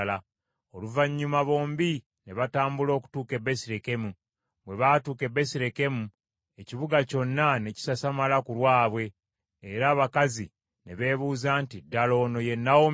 Oluvannyuma bombi ne batambula okutuuka e Besirekemu. Bwe batuuka e Besirekemu, ekibuga kyonna ne kisasamala ku lwabwe, era abakazi ne beebuuza nti, “Ddala ono ye Nawomi?”